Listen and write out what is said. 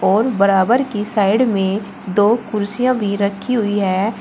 और बराबर की साइड में दो कुर्सियां भी रखी हुई है।